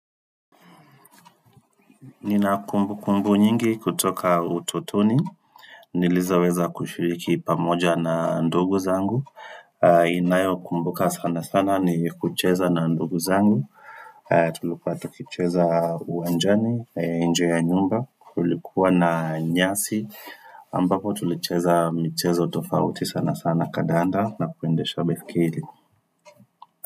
Nina kumbukumbu nyingi kutoka utotoni, nilizoweza kushiriki pamoja na ndugu zangu, ninayo kumbuka sanasana ni kucheza na ndugu zangu, tulikuwa tukicheza uwanjani, nje ya nyumba, kulikuwa na nyasi, ambapo tulicheza michezo tofauti sana sana kandanda na kuendesha baiskeli.